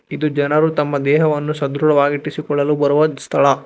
ಇದು ಜನರು ತಮ್ಮ ದೇಹವನ್ನು ಸದೃಢವಾಗಿ ಇರಿಸಿಕೊಳ್ಳಲು ಬರುವ ಸ್ಥಳ.